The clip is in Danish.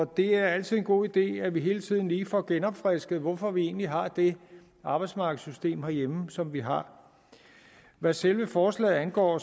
det er altid en god idé at vi hele tiden lige får genopfrisket hvorfor vi egentlig har det arbejdsmarkedssystem herhjemme som vi har hvad selve forslaget angår